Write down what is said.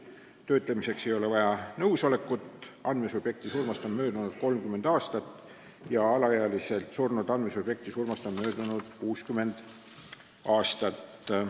Isikuandmete töötlemiseks ei ole vaja nõusolekut, kui andmesubjekti surmast on möödunud 30 aastat või alaealiselt surnud andmesubjekti surmast on möödunud 60 aastat.